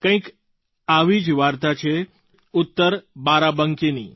કંઈક આવી જ વાર્તા છે ઉત્તર બારાબંકીની